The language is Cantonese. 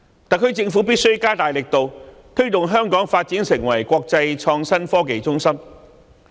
特區政府必須加大力度推動香港發展成為國際創新科技中心。